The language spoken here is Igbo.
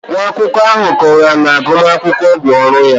Nwa akwụkwọ ahụ kọwara na agụmakwụkwọ bụ ọrụ ya